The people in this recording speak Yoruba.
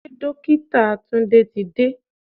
Ṣé Dókítà Tunde ti dé?